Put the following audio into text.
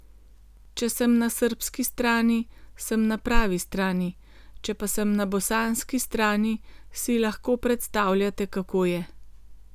Če sem na srbski strani, sem na pravi strani, če pa sem na bosanski strani, si lahko predstavljate, kako je.